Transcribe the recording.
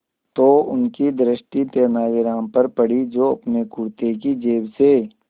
तो उनकी दृष्टि तेनालीराम पर पड़ी जो अपने कुर्ते की जेब से